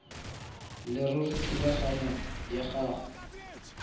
leruri thulaganyo ya go